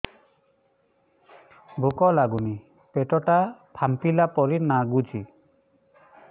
ଭୁକ ଲାଗୁନି ପେଟ ଟା ଫାମ୍ପିଲା ପରି ନାଗୁଚି